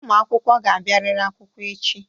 Ụmụ akwụkwọ ga-abịarịrị akwụkwọ echi.